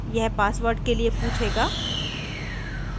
यह password के लिए पूछेगा